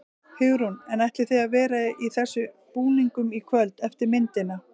Hugrún: En ætlið þið að vera í þessum búningum í kvöld eftir myndina?